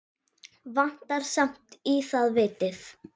Vantar samt í það vitið.